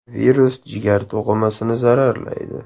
Virus jigar to‘qimasini zararlaydi.